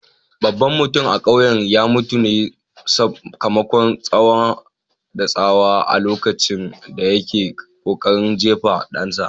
Babban mutum a kauyen ya mutu ne sakamakon tsawa da tsawa a lokacin da yake kokarin jefa dansa.